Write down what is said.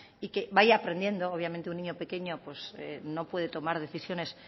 y que vaya aprendiendo obviamente un niño pequeño pues no puede tomar decisiones